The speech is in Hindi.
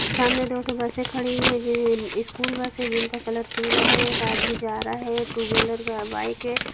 सामने दोठु बसे खड़ी हुईं है जे हैं स्कूल बस है जिनका कलर पीला है एक आदमी जा रहा है एक टू व्हीलर का बाइक है।